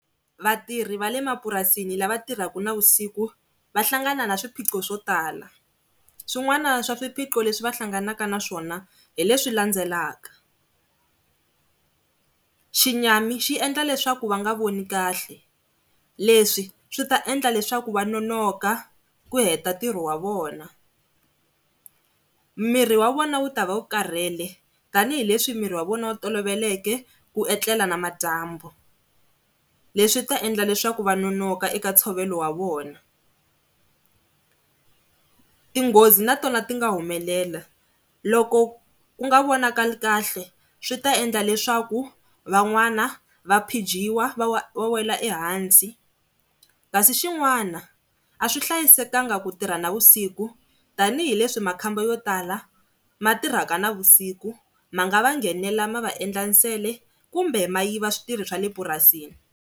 Vatirhi va le mapurasini lava tirhaka na vusiku va hlangana na swiphiqo swo tala swin'wana swa swiphiqo leswi va hlanganaka na swona hi leswi landzelaka, xinyami xi endla leswaku va nga voni kahle, leswi swi ta endla leswaku va nonoka ku heta ntirho wa vona. Miri wa vona wu ta va wu karhele tanihileswi miri wa vona wu toloveleke ku etlela namadyambu, leswi ta endla leswaku va nonoka eka ntshovelo wa vona. Tinghozi na tona ti nga humelela loko ku nga vonakali kahle swi ta endla leswaku van'wana va phijiwa va wa va wela ehansi, kasi xin'wana a swi hlayisekanga ku tirha navusiku tanihileswi makhamba yo tala ma tirhaka navusiku ma nga va nghenela ma vaendla nsele kumbe ma yiva switirho swa le purasini.